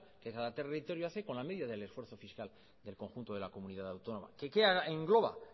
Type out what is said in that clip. que cada territorio hace con la medida del esfuerzo fiscal del conjunto de la comunidad autónoma que qué engloba